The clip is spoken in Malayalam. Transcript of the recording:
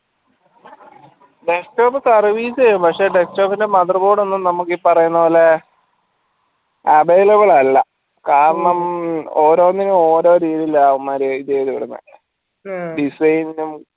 descktop service ചെയ്യും പക്ഷെ desktop ൻറെ mother board ഒന്നും നമ്മുക്ക് ഈ പറയുന്ന പോലെ available അല്ല കാരണം ഓരോനിന്ന് ഓരോ രീതിയിലാണ് അവമ്മാര് design നും